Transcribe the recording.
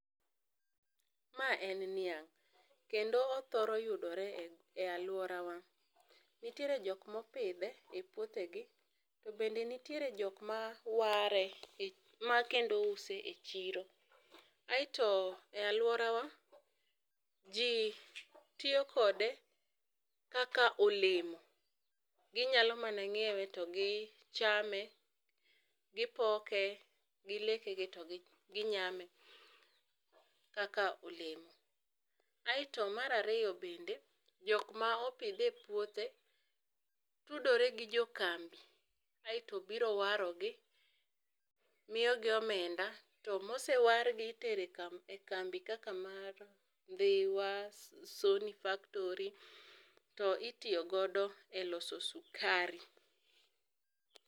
Ma en niang' kendo othoro yudore e aluora wa. Nitie jok ma opidhe e puothe gi to bende nitiere jok ma ware ma use e chiro. Asto e aluora wa ji tiyo kode kaka olemo, gi nya mana ngiewe to gi chame gi poke gi leke gi to gi nyame kaka olemo. Aito mara riyo, bende jok ma opidhe e puothe tudore gi jo kambi aito biro waro gi miyo gi omenda. to Ma osewar gi itero e kambi kaka mar Ndhiwa, Sony factory to itiyo godo e loso sikari